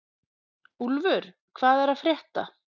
Úlfur, hvað er að frétta?